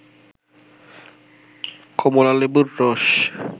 কমলালেবুর রস